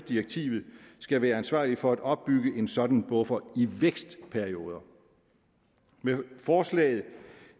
direktivet skal være ansvarlige for at opbygge en sådan buffer i vækstperioder med forslaget